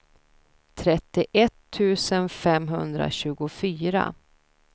trettioett tusen femhundratjugofyra